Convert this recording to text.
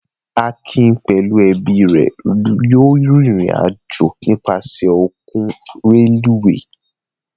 Akin pẹ̀lú ẹbí rẹ̀ yóò rìnrìn-àjò nípasẹ̀ ọkọ̀ rélùúwè.